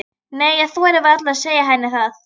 Nei, ég þori varla að segja henni það.